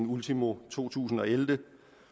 ultimo to tusind og elleve